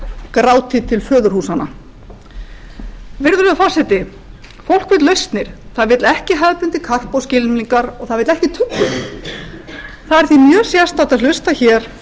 gráti til föðurhúsanna virðulegur forseti fólk vill lausnir það vill ekki hefðbundið karp og skylmingar og það vill ekki tuggur það er því mjög sérstakt að hlusta hér